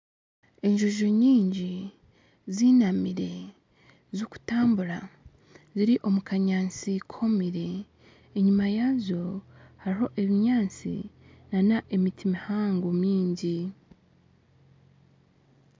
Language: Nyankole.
Enjojo nyingi ziinamire zikutambura ziri omu kanyaasti kwomire. Enyima yazo hariyo ebinyaasti na n'emiti mihango mingi.